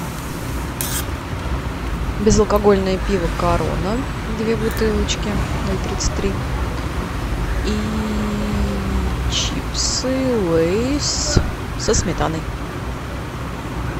безалкогольное пиво корона две бутылочки ноль тридцать три и чипсы лейс со сметаной